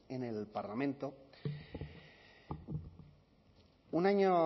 en el parlamento un año